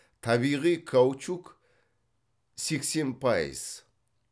табиғи каучук сексен пайыз